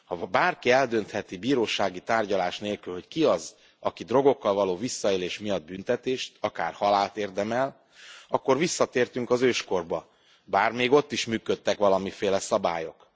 Ha bárki eldöntheti bírósági tárgyalás nélkül, hogy ki az, aki drogokkal való visszaélés miatt büntetést, akár halált érdemel, akkor visszatértünk az őskorba, bár még ott is működtek valamiféle szabályok.